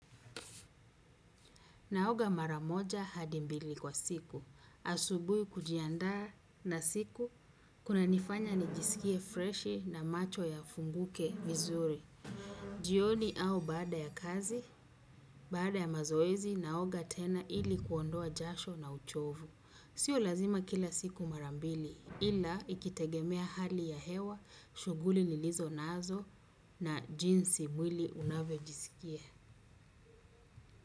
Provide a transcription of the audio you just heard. Naoga maramoja hadimbili kwa siku. Asubui kujiandaa na siku kuna nifanya nijisikie freshi na macho ya funguke vizuri. Jioni au baada ya kazi, baada ya mazoezi naoga tena ili kuondoa jasho na uchovu. Sio lazima kila siku marambili ila ikitegemea hali ya hewa, shuguli nilizo nazo na jinsi mwili unavyo jiskia.